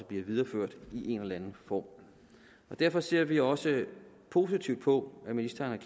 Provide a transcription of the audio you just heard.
bliver videreført i en eller anden form derfor ser vi også positivt på at ministeren